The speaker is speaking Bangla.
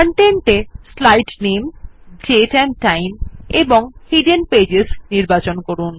Content এ slide name date and time এবং হিডেন পেজেস নির্বাচন করুন